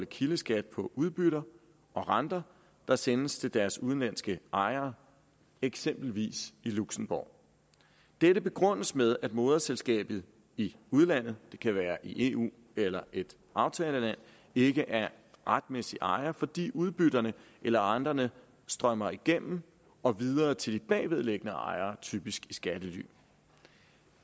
kildeskat på udbytter og renter der sendes til deres udenlandske ejere eksempelvis i luxembourg dette begrundes med at moderselskabet i udlandet det kan være i eu eller et aftagerland ikke er retmæssig ejer fordi udbytterne eller renterne strømmer igennem og videre til de bagvedliggende ejere typisk i skattely